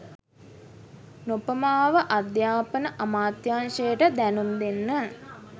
නොපමාව අධ්‍යාපන අමාත්‍යංශයට දැනුම් දෙන්න